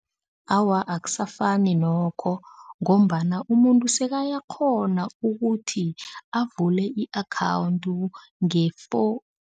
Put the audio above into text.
Awa, akusafani nokho ngombana umuntu sekayakghona ukuthi avule i-akhawundi